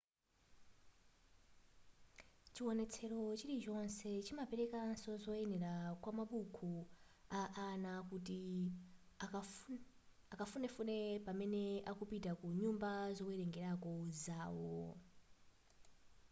chiwonetsero chilichonse chimaperekanso zoyenera kwamabuku a ana kuti akafunefune pamene akupita ku nyumba zowerengerako zawo